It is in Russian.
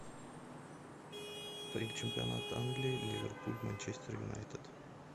чемпионат англии ливерпуль манчестер юнайтед